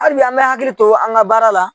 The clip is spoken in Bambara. Halibi an bɛ hakili to an ka baara la.